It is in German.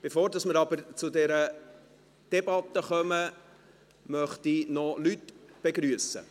Bevor wir zu dieser Debatte kommen, möchte ich Leute begrüssen.